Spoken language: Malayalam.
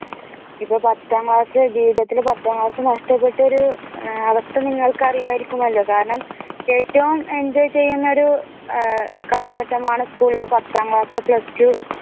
ഇപ്പോൾ പത്താം ക്ലാസ് ജീവിതത്തിൽ പത്താം ക്ലാസ് നഷ്ടപ്പെട്ട ഒരു അവസ്ഥ നിങ്ങൾക്ക് അറിയാതിരിക്കുമല്ലോ കാരണം ഏറ്റവും enjoy ചെയ്യുന്ന ഒരു കാലഘട്ടമാണ് school ഇലെ പത്താം ക്ലാസ് plus two